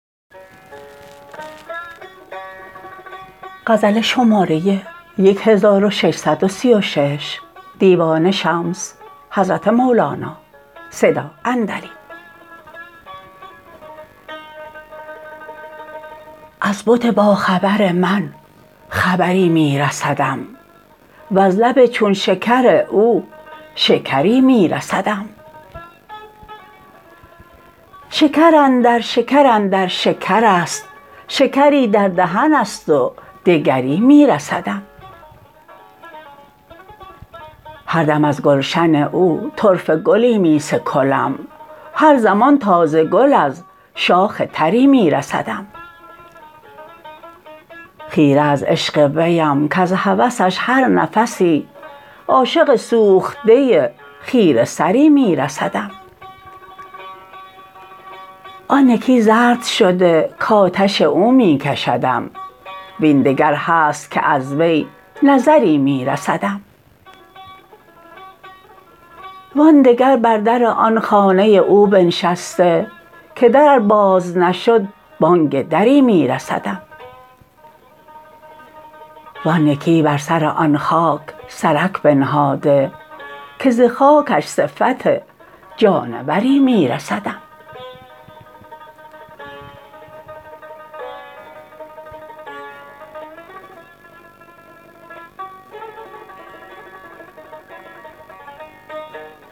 از بت باخبر من خبری می رسدم وز لب چون شکر او شکری می رسدم شکر اندر شکر اندر شکر است شکری در دهن است و دگری می رسدم هر دم از گلشن او طرفه گلی می سکلم هر زمان تازه گل از شاخ تری می رسدم خیره از عشق ویم کز هوسش هر نفسی عاشق سوخته خیره سری می رسدم آن یکی زرد شده کآتش او می کشدم وین دگر هست که از وی نظری می رسدم وان دگر بر در آن خانه او بنشسته که در ار باز نشد بانگ دری می رسدم وان یکی بر سر آن خاک سرک بنهاده که ز خاکش صفت جانوری می رسدم